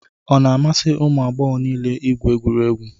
Ọ na-amasị ụmụ agbọghọ niile igwụ egwuregwu